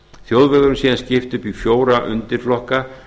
þjóðvegum sé síðan skipt upp í fjóra undirflokka